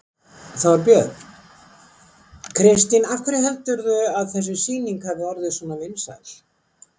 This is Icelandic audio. Þorbjörn: Kristín af hverju heldurðu að þessi sýning hafi orðið svona vinsæl?